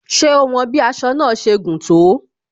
Ṣé o won bí aṣọ náà ṣe gùn tó?